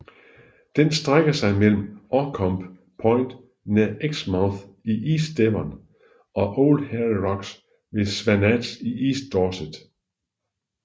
Den strækker sig mellem Orcombe Point nær Exmouth i East Devon og Old Harry Rocks ved Swanage i East Dorset